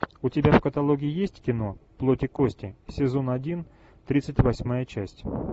у тебя в каталоге есть кино плоть и кости сезон один тридцать восьмая часть